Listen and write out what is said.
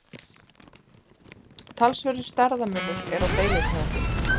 Talsverður stærðarmunur er á deilitegundum.